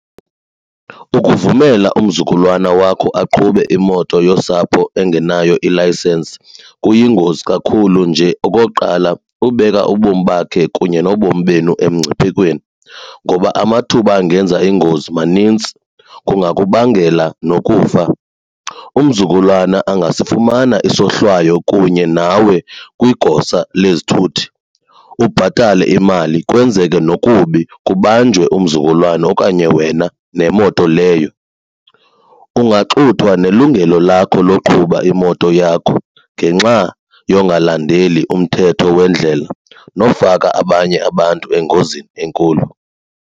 Ukuvumela umzukulwana wakho aqhube imoto yosapho engenayo ilayisensi kuyingozi kakhulu nje. Okokuqala, kukubeka ubomi bakhe kunye nobomi benu emngciphekweni ngoba amathuba angenza iingozi manintsi kungakubangela nokufa. Umzukulwana angasifumana isohlwayo kunye nawe kwigosa lezithuthi ubhatale imali kwenzeke nokubi kubanjwe umzukulwana okanye wena nemoto leyo. Kungaxuthwa nelungelo lakho loqhuba imoto yakho ngenxa yongalandeli umthetho wendlela nofaka abanye abantu engozini enkulu.